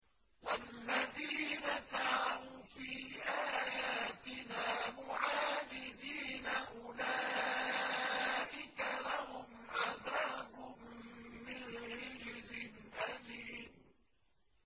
وَالَّذِينَ سَعَوْا فِي آيَاتِنَا مُعَاجِزِينَ أُولَٰئِكَ لَهُمْ عَذَابٌ مِّن رِّجْزٍ أَلِيمٌ